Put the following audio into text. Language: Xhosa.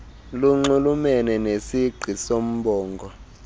lunxulumene nesingqi soombongo